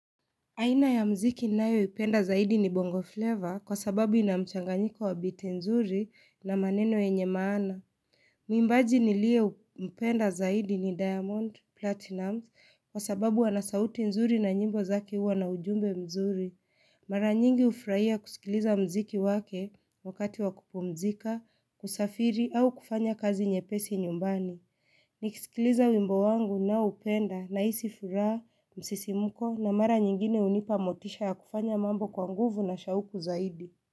Aina ya mziki ninayoipenda zaidi ni bongo flavor kwa sababu ina mchanganyiko wa biti nzuri na maneno yenye maana. Mwimbaji niliempenda zaidi ni diamond, platinum kwa sababu ana sauti nzuri na nyimbo zake huwa na ujumbe mzuri. Mara nyingi hufraia kusikiliza mziki wake wakati wa kupumzika, kusafiri au kufanya kazi nyepesi nyumbani. Nikisikiliza wimbo wangu naoupenda nahisi furaha msisimko na mara nyingine hunipa motisha ya kufanya mambo kwa nguvu na shauku zaidi.